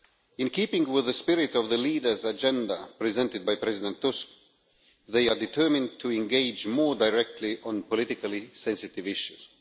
In keeping with the spirit of the leaders' agenda, presented by President Tusk, they are determined to engage more directly on politically sensitive issues.